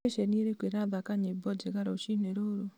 nĩ ceceni irĩkũ irathaaka nyĩmo njega rũciinĩ rũrũ